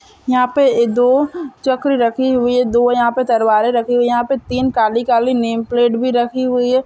यहाँ पे दो चकरी रखी हुई है दो यहाँ पे तलवारे रखी हुई है यहाँ पे तीन काली-काली नेम प्लेट भी रखी हुई है।